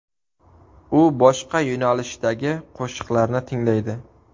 U boshqa yo‘nalishdagi qo‘shiqlarni tinglaydi.